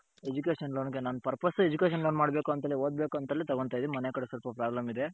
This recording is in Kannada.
education loan ಗೆ ನನ್ purpose education loan ಮಾಡ್ಬೇಕ್ ಅಂತಲೇ ಓದಬೇಕು ಅಂತಲೇ ತಗೊಂಡ್ತೈದಿನಿ ಮನೆ ಕಟ್ಸಕ್ಕು problem ಇದ್ದೆ